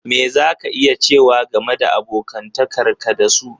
Me za ka iya cewa game da abokantakar ka da su?